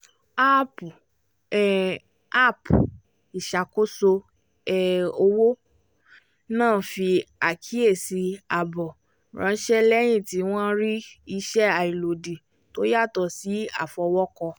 áàpù um app ìṣàkóso um owó náà fi àkíyèsí ààbò ránṣẹ́ lẹ́yìn tí wọ́n rí ìṣe àìlòdì tó yàtọ̀ sí àfọwọ́kọ